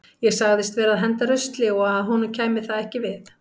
Ég sagðist vera að henda rusli og að honum kæmi það ekki við.